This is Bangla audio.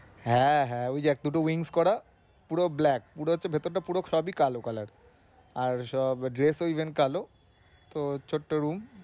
হ্যাঁ হ্যাঁ ঐযে একটুকু করা পুরো black পুরো হচ্ছে ভেতরটা পুরো সবই কালো color আর সব dress ও even কালো। তো ছোট্টো room